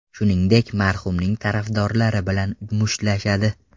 Shuningdek, marhumning tarafdorlari bilan mushtlashadi.